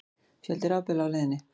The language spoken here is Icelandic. Fjöldi rafbíla á leiðinni